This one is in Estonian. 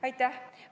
Aitäh!